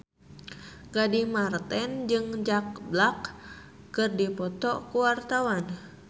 Gading Marten jeung Jack Black keur dipoto ku wartawan